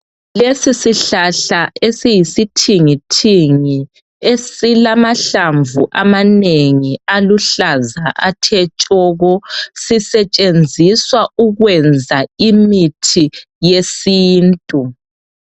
lesi sihlahla esiyisithingithingi esilamahlamvu amanengi aluhlaza athe tshoko sisetshenziswa ukwenza imithi yesintu